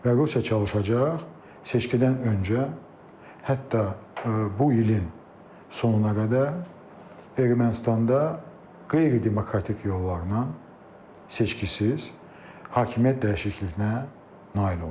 Və Rusiya çalışacaq seçkidən öncə, hətta bu ilin sonuna qədər Ermənistanda qeyri-demokratik yollarla seçkisiz hakimiyyət dəyişikliyinə nail olmaq.